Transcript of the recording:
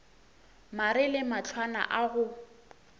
mare le mahlwana a go